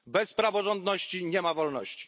Bez praworządności nie ma wolności.